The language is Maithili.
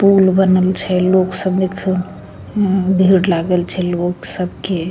पुल बनल छे लोग सभी खन हूं भीड़ लागल छे लोग सबके --